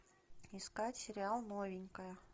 искать сериал новенькая